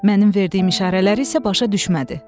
Mənim verdiyim işarələri isə başa düşmədi.